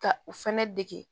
Ka u fɛnɛ dege